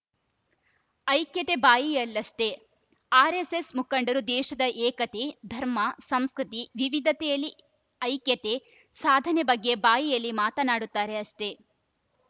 ಐಕ್ಯತೆ ಬಾಯಿಯಲ್ಲಷ್ಟೇ ಆರ್‌ಎಸ್‌ಎಸ್‌ ಮುಖಂಡರು ದೇಶದ ಏಕತೆ ಧರ್ಮ ಸಂಸ್ಕೃತಿ ವಿವಿಧತೆಯಲ್ಲಿ ಐಕ್ಯತೆ ಸಾಧನೆ ಬಗ್ಗೆ ಬಾಯಿಯಲ್ಲಿ ಮಾತನಾಡುತ್ತಾರೆ ಅಷ್ಟೇ